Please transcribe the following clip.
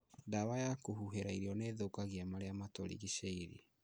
Ndawa ya kũhuhĩra irio nĩithũkagia marĩa matũrigicĩirie